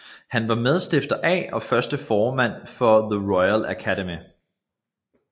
Han var medstifter af og første formand for the Royal Academy